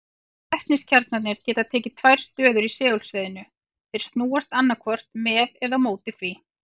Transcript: Vetniskjarnarnir geta tekið tvær stöður í segulsviðinu, þeir snúast annaðhvort með eða á móti því.